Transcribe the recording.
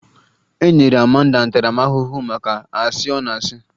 E nyere Amanda ntaramaahụhụ maka asị ọ na-asị